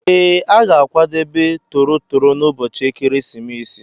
Ee, a ga-akwadebe toro toro n'ụbọchị ekeresimesi.